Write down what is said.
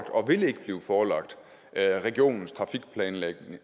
og vil ikke blive forelagt regionens trafikplanlægning